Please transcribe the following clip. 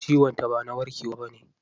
Ciwon ta ba na warkewa bane.